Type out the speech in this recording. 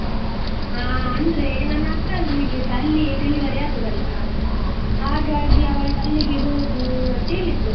ಹಾ ಅಂದ್ರೆ ನನ್ನ ಅಕ್ಕನಿಗೆಸ ಅಲ್ಲಿಯೇ delivery ಆದದ್ದಲ್ಲಾ, ಹಾಗಾಗಿ ಅವಳ್ ಅಲ್ಲಿಗೆ ಹೋಗು ಅಂತೇಳಿದ್ಲು.